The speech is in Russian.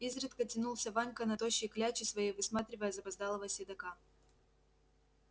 изредка тянулся ванька на тощей кляче своей высматривая запоздалого седока